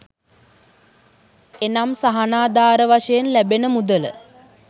එනම් සහනාධාර වශයෙන් ලැබෙන මුදල